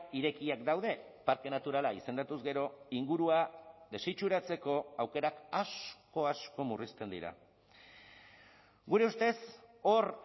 irekiak daude parke naturala izendatuz gero ingurua desitxuratzeko aukerak asko asko murrizten dira gure ustez hor